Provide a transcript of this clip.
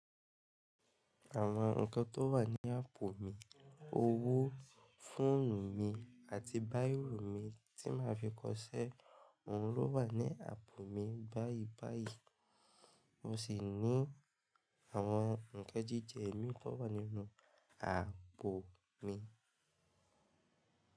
Àwọn nǹkan tó wà ní àpò mi; owó, fóònù mi àti báìrò mi tí màá fi kọṣẹ́. Òhun ló wà ní àpò mi báyìí báyìí, mo sì ní àwọn nǹkan jíjẹ mi tó wà nínú àpò mi.